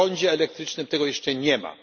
W prądzie elektrycznym tego jeszcze nie